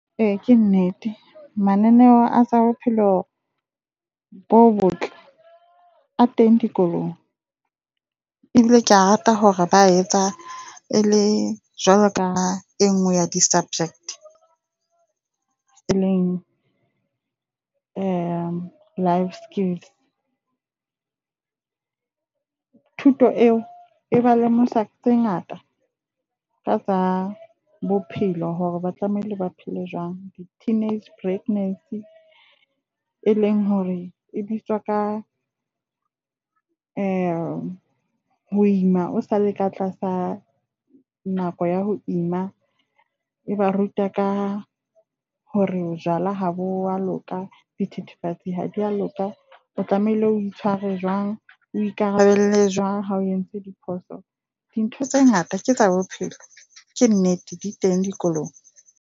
Ee, ke nnete mananeo a bophelo bo botle a teng dikolong, ebile kea rata hore ba etsa ele jwalo ka e nngwe ya di dubject, eleng Life Skills. Thuto eo e ba lemosa tse ngata ka tsa bophelo hore ba tlamehile ba phele jwang. Di-teenage pregnancy e leng hore e bitswa ka ho ima o sa le ka tlasa nako ya ho ima. E ba ruta ka hore jwala ha bo a loka, di thethefatsi ha di a loka. O tlamehile o itshware jwang, o ikarabelle jwang ha o entse diphoso. Dintho tse ngata ke tsa bophelo, ke nnete di teng dikolong.